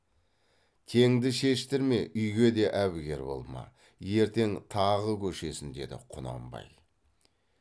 теңді шештірме үйге де әбігер болма ертең тағы көшесін деді құнанбай